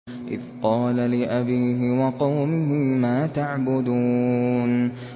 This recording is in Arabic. إِذْ قَالَ لِأَبِيهِ وَقَوْمِهِ مَا تَعْبُدُونَ